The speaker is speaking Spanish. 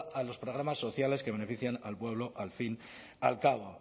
a los programas sociales que benefician al pueblo al fin al cabo